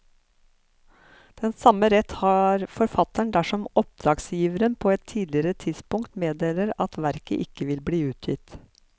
Den samme rett har forfatteren dersom oppdragsgiver på et tidligere tidspunkt meddeler at verket ikke vil bli utgitt.